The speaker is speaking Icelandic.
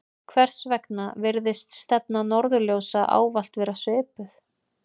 hvers vegna virðist stefna norðurljósa ávallt vera svipuð